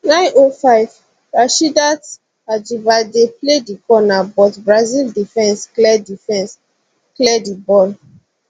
nine o five rasheedat ajibade play di corner but brazil defence clear defence clear di ball